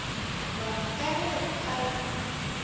ba ka ge ka la